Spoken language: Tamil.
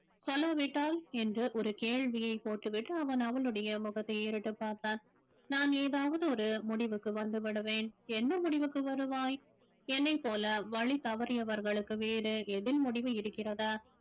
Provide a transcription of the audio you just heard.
சொல்லாவிட்டால் என்ற ஒரு கேள்வியை போட்டுவிட்டு அவன் அவளுடைய முகத்தை பார்த்தான் நான் ஏதாவது ஒரு முடிவுக்கு வந்து விடுவேன் என்ன முடிவுக்கு வருவாய் என்னைப் போல வழி தவறியவர்களுக்கு வேறு எதில் முடிவு இருக்கிறதா